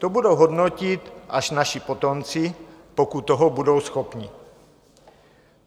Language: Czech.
To budou hodnotit až naši potomci, pokud toho budou schopni.